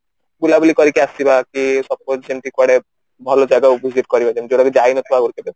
ବୁଲ ବୁଲି କରିକି ଆସିବା କି suppose ଯେମିତି କୁଆଡେ ଭଲ ଜାଗା କୁ visit କରିବା ଯେମିତି କି ଯାଇନଥିବା ଆବଶ୍ୟକ